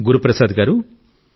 గురుప్రసాద్ గారూ